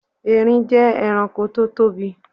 Erín jẹ́ ẹranko tó tóbi